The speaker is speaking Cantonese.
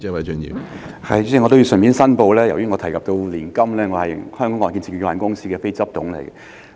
主席，我要順便申報，由於我提到年金，我是香港按揭證券有限公司的非執行董事。